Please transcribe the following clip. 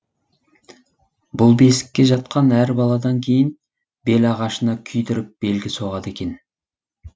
бұл бесікке жатқан әр баладан кейін белағашына күйдіріп белгі соғады екен